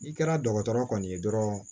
N'i kɛra dɔgɔtɔrɔ kɔni ye dɔrɔn